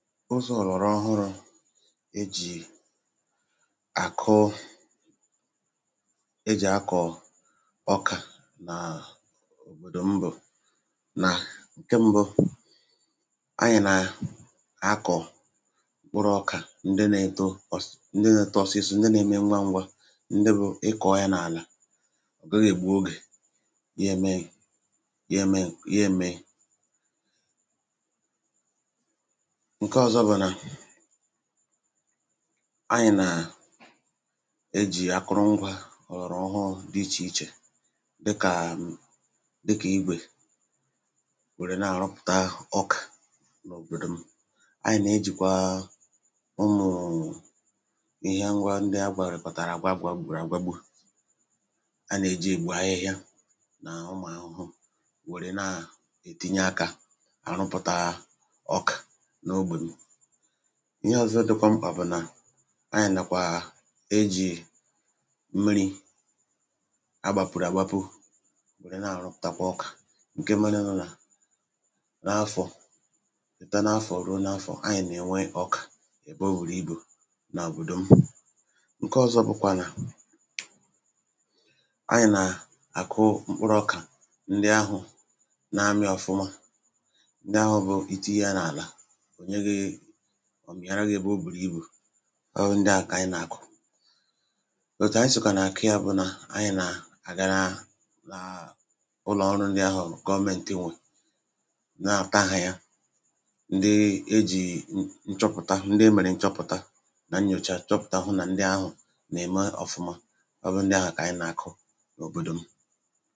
ụzọ̇ ọ̀rọọhụrụ̇ e jì àkụ e jì akọ̀ ọkà na à òbòdò m bụ̀ nà keṁbụ anyị̀ nà akọ̀ kpụrụ̇ọkà ndị na-eto ndị na-eto ọsịsọ ndị na-eme ngwa ngwa ndị bụ̇ ịkọ̀ọ̀ ya n’àlà ọ̀gaghị̀ ègbè ogè ya eme ya mee ya èmè anyị̀ nà à e jì akụrụngwȧ ọ̀lọ̀rọ̀ ọhọ di ichè ichè dịkà dịkà igwè wère na-àrụpụ̀ta ọkà n’òbòdò m anyị̀ nà-ejìkwa ụmụ̀rụ̀ ihe ngwa ndị agwàgwàrịkọ̀tàrà agwàgwà a nà-èji ègbu ahịhịa nà ụmụ̀ ahụhụ wère na-ètinye akȧ ihe ọ̀zọ dịkwa mkpà bụ̀ nà anyị̀ nàkwà ejì mmiri̇ agbàpụ̀rụ̀ àgbapu wère na-àrụtakwa ọkà ǹke merenụ nà n’afọ̀ chèta n’afọ̀ ruo n’afọ̀ anyị̀ nà-enwe ọkà èbe o wùrù ibù nà àbụ̀dò m ǹke ọ̀zọ bụkwa nà anyị̀ nà àkụ mkpụrụ̇ ọkà ndị ahụ̀ na-amị̇ ọ̀fụma ndị ahụ̀ bụ̀ ìtu ihe ya n’àlà ọ̀ mịàra gị̇ ebe o bùrù ibù ọhụrụ ndị ahụ̀ kà ànyị nà-àkụ òtù anyị sòkà nà-àkụ yȧ bụ nà anyị̀ nà-àgịnaà nàà ụlọ̀ọrụ ndị ahụ̀ gọọmenti nwè n’àpụ̀taghị̀ ya ndị e jì nchọpụ̀ta ndị e mèrè nchọpụ̀ta nà nnyòchà chọpụ̀ta hụ nà ndị ahụ̀ nà-ème ọ̀fụma ọbụ ndị ahụ̀ kà ànyị nà-àkụ n’òbòdò m